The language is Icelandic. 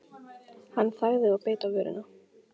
Hann þagði og beit á vörina.